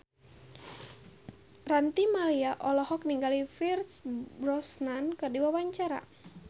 Ranty Maria olohok ningali Pierce Brosnan keur diwawancara